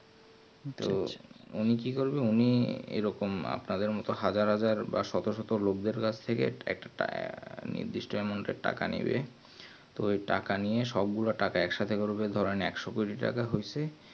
উনি কি করবেন উনি এরকম আপনাদের মতন হাজার হাজার বা শত শত লগ দেড় কাছ থেকে একটা টায় নির্দিষ্ট amount এর টাকা নেবে তো এই টাকা নিয়েন সব গুলো টাকা একসাথে করবেন ধরো একশো কোটি টাকা হইসে